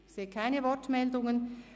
– Ich sehe keine Wortmeldungen.